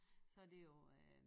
Så det jo øh